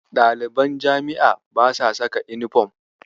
Ɗaliban jami'a basa saka yunifom.